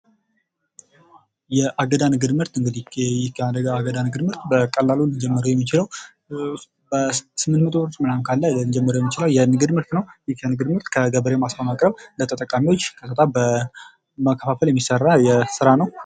የአገዳ ንግድ ምርት በቀላሉ ልንጀምረው የምንችል በስምንት መቶ ብር ልንጀምረው የምንችል የንግድ ምርት ነው ይህ የንግድ ምርት ከጋበሬው ማሳ በማቅረብ ለተጠቃሚዎች ቀጥታ በማከፋፈል የሚሠራ ስራ ነው።